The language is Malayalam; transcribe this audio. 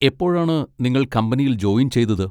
എപ്പോഴാണ് നിങ്ങൾ കമ്പനിയിൽ ജോയിൻ ചെയ്തത്?